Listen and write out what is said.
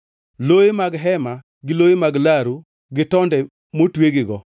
loye mag hema gi loye mag laru gi tonde motwegigo,